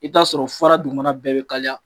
I ta'a sɔrɔ fara dugumana bɛɛ bɛ kalaya